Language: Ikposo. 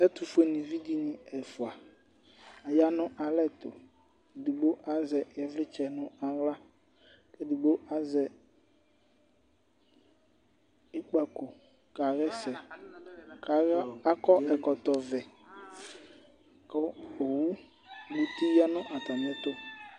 Ɛtufue nivi dini ɛfua, aya nu alɛ̃tu, edigbo azɛ ivlitsɛ nu aɣla, ku edigbo azɛ ikpako ka hɛsɛ, k'akɔ ɛkɔtɔ vɛ ku owu ni bi ya nu atamìɛtu